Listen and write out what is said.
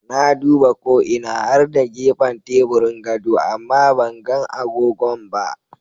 Na duba ko ina har da gefan teburin gado amma banga agogon ba.